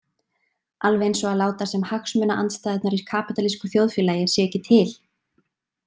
Alveg eins og að láta sem hagsmunaandstæðurnar í kapítalísku þjóðfélagi séu ekki til.